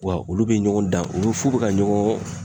Wa olu be ɲɔgɔn dan ulu f'u be ka ɲɔgɔn